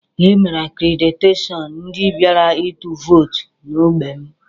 E mere akrediteshọn ndị bịara ịtụ vootu n'ogbé m